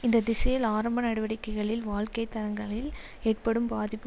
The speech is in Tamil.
இந்த திசையில் ஆரம்ப நடவடிக்கைகளில் வாழ்க்கை தரங்களில் ஏற்படும் பாதிப்பு